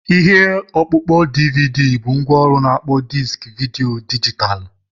Ihe ọkpụkpọ DVD bụ ngwaọrụ na-akpọ diski vidiyo dijitalụ.